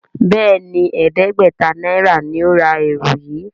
Béèni ẹdẹgbẹta náírà ní o rà ẹrù yí.